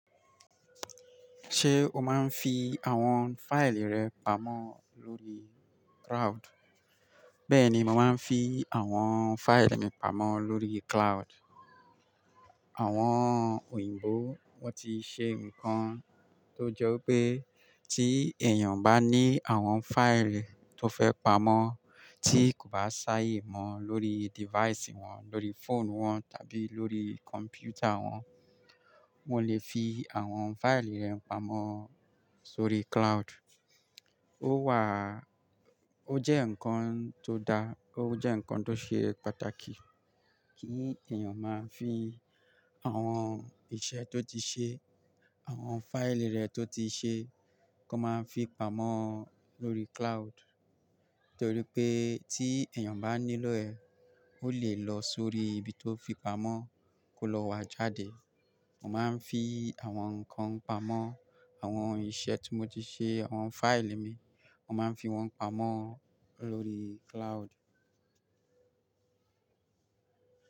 Ṣé o máa ń fi àwọn fáìlì rẹ pamọ́ lórí cloud? Bẹ́ẹ̀ ni, mo máa ń fi àwọn fáìlì mi pamọ́ lórí cloud. Àwọn òyìnbó wọ́n ti ṣe nǹkan tó jọ pé tí èèyàn bá ní àwọn fáìlì tó fẹ́ pamọ́ tí kò bá ṣáà yè mọ́ lórí device wọn, lórí fóònù wọn tàbí lórí kọ̀m̀pútà wọn, wọ́n lè fi àwọn fáìlì rẹ̀ pamọ́ sórí cloud. Ó wà, ó jẹ́ ǹkan tó dáa, ó jẹ́ ǹkan tó ṣe pàtàkì kí èèyàn máa fi àwọn iṣẹ́ tó ti ṣe, àwọn fáìlì rẹ̀ tó ti ṣe kó máa ń fi pamọ́ lórí cloud. Nítorí pé tí èèyàn bá nílò ẹ̀, ó lè lọ sórí ibi tó fi pamọ́ kó lọ wá jáde. Mo máa ń fi àwọn nǹkan pamọ́, àwọn iṣẹ́ tí mo ti ṣe, àwọn fáìlì mi, mo máa ń fi wọ́n pamọ́ lórí cloud.